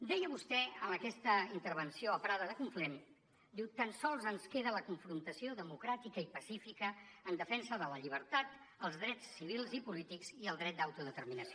deia vostè en aquesta intervenció a prada de conflent diu tan sols ens queda la confrontació democràtica i pacífica en defensa de la llibertat els drets civils i polítics i el dret d’autodeterminació